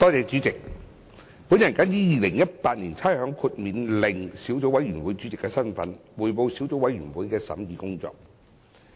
主席，我謹以《2018年差餉令》小組委員會主席的身份，匯報小組委員會的審議工作。